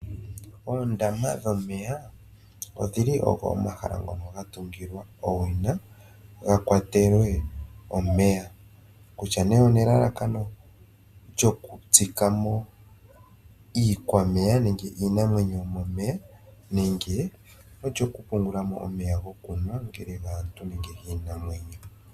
Oondama dhomeya odhili omahala ngoka gatungilwa owina gakwatelwe omeya kutya nee onelalakano lyokutsika mo iikwameya ano iinamwenyo yomomeya nenge olyo kupungulamo omeya gokunwa ongele ogaantu nenge ogiinamwenyo.